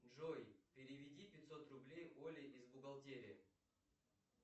джой переведи пятьсот рублей оле из бухгалтерии